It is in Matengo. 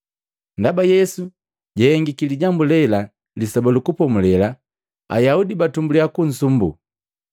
Ndaba Yesu jahengiki lijambu lela Lisoba lu Kupomulela, Ayaudi batumbuliya kusumbuu.